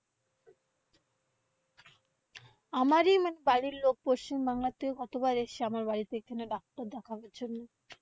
আমারি মানে বাড়ির লোক পশ্চিমবাংলা তে কতবার এসছে আমার বাড়ি থেকে এখানে ডাক্তার দেখানোর জন্য।